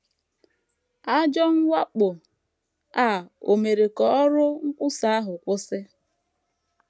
Ajọ mwakpo a ò mere ka ọrụ nkwusa ahụ kwụsị?